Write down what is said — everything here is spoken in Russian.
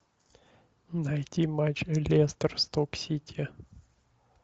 найти матч лестер сток сити